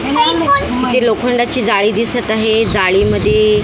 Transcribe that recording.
तिथे लोखंडाची जाळी दिसत आहे जाळीमध्ये --